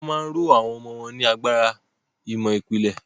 Wọ́n ma ń ró àwọn ọmọ wọn ní agbára ìmọ̀ ìpìlẹ̀.